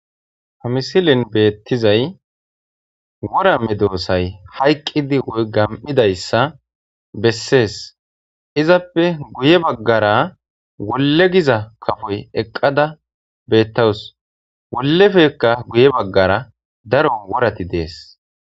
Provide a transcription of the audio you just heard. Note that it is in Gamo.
Ha misilen beettizay wora medoosay hayqqidi woy gam7idayssa bessees; izappe guye baggara wolle giza kafoy eqqada beettawus; wollefekka guye baggara daro worati dees.